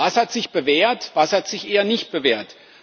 Was hat sich bewährt, was hat sich eher nicht bewährt?